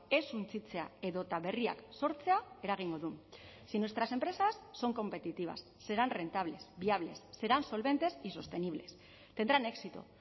ez suntsitzea edota berriak sortzea eragingo du si nuestras empresas son competitivas serán rentables viables serán solventes y sostenibles tendrán éxito